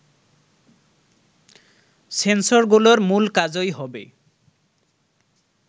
সেন্সরগুলোর মূল কাজই হবে